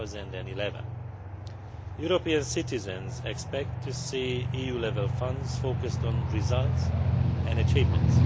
2011. European citizens expect to see EU level funds focused on results and achievements.